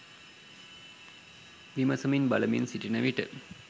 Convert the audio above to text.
විමසමින් බලමින් සිටින විට